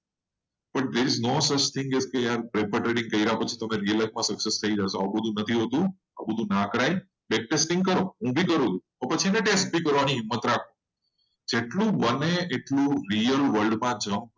paper trading કરતા real trading કરવામાં વધારે સ્કોપ છે. જેટલું બને એટલું real world માં ચાખવાનું કોશિશ કરો.